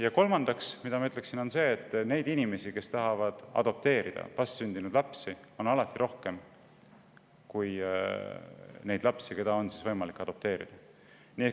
Ja kolmandaks ütleksin, et neid inimesi, kes tahavad adopteerida vastsündinud lapsi, on alati rohkem kui neid lapsi, keda on võimalik adopteerida.